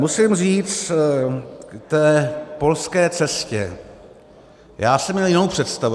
Musím říct k té polské cestě - já jsem měl jinou představu.